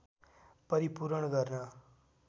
परिपूरण गर्न